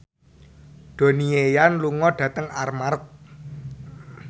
Donnie Yan lunga dhateng Armargh